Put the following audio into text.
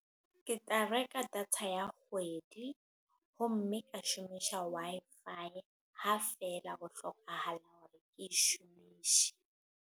Ke tla reka data ya kgwedi. Ho mme, ka shomisha Wi-Fi. Ha feela ho hlokahala hore ke shomishe.